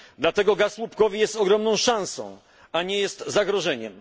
Dlatego gaz łupkowy jest ogromną szansą, a nie jest zagrożeniem.